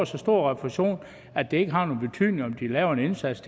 så stor refusion at det ikke har nogen betydning om de laver en indsats